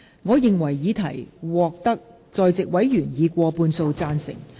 我認為議題獲得在席委員以過半數贊成。